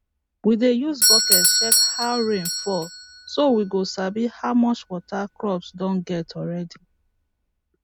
we dey use bucket check how rain fall so we go sabi how much water crop don get already